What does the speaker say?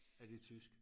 Af det tysk